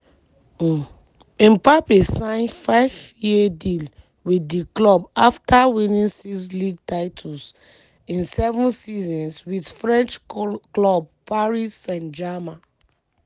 mpabbe sign five-year deal with di club afta winning six league titles in seven seasons wit french club paris st german.